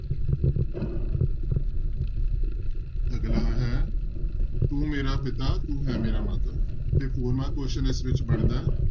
ਅਗਲਾ ਹੈ ਤੂੰ ਮੇਰਾ ਪਿਤਾ ਤੂੰ ਹੈ ਮੇਰਾ ਮਾਤਾ ਤੇ four mark question ਇਸ ਵਿੱਚ ਬਣਦਾ।